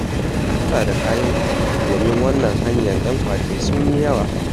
ki kula da kayanki, don wannan hanyar 'yan ƙwace sun yi yawa